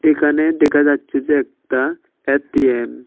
এখানে দেখা যাচ্ছে যে একটা এ_টি_এম ।